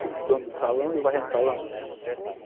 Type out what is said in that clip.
Filho do dono do salão e eu varrendo o salão.